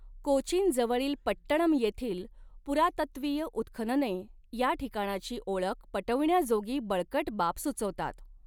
कोचीनजवळील पट्टणम येथील पुरातत्वीय उत्खनने या ठिकाणाची ओळख पटविण्याजोगी बळकट बाब सुचवतात.